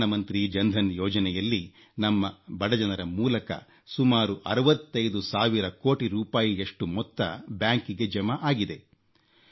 ಪ್ರಧಾನಮಂತ್ರಿ ಜನ್ಧನ್ ಯೋಜನೆಯಲ್ಲಿ ನಮ್ಮ ಬಡ ಜನರ ಮೂಲಕ ಸುಮಾರು 65 ಸಾವಿರ ಕೋಟಿ ರೂಪಾಯಿಯಷ್ಟು ಮೊತ್ತ ಬ್ಯಾಂಕಿಗೆ ಜಮಾ ಆಗಿದೆ